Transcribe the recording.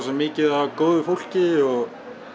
mikið af góðu fólki og